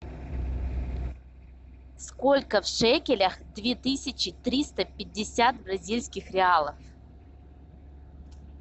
сколько в шекелях две тысячи триста пятьдесят бразильских реалов